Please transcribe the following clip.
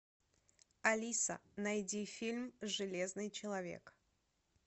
алиса найди фильм железный человек